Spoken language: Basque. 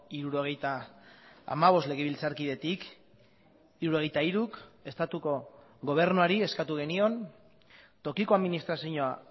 hirurogeita hamabost legebiltzarkidetik hirurogeita hiruk estatuko gobernuari eskatu genion tokiko administrazioa